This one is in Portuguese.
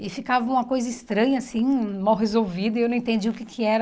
E ficava uma coisa estranha, assim, mal resolvida, e eu não entendia o que que era.